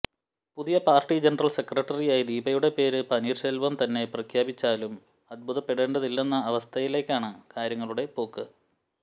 പുതിയ party general സെക്രട്ടറിയായി ദീപയുടെ പേര് പനീർശെൽവം തന്നെ പ്രഖ്യാപിച്ചാലും അത്ഭുതപ്പെടേണ്ടതില്ലന്ന അവസ്ഥയിലാണ് കാര്യങ്ങളുടെ പോക്ക്